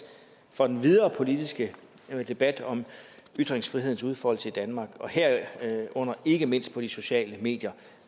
for den videre politiske debat om ytringsfrihedens udfoldelse i danmark og herunder ikke mindst på de sociale medier